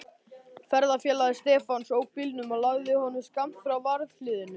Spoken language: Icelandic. Ferðafélagi Stefáns ók bílnum og lagði honum skammt frá varðhliðinu.